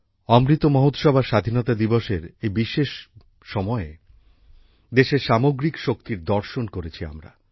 অমৃত মহোৎসব আর স্বাধীনতা দিবসের এই বিশেষ সময়ে দেশের সামগ্রিক শক্তির দর্শন করেছি আমরা